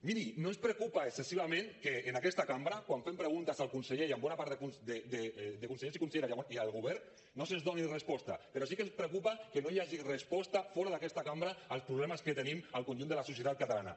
miri no ens preocupa excessivament que en aquesta cambra quan fem preguntes al conseller i a bona part de consellers i conselleres i al govern no se’ns doni resposta però sí que ens preocupa que no hi hagi resposta fora d’aquesta cambra als problemes que tenim al conjunt de la societat catalana